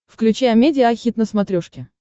включи амедиа хит на смотрешке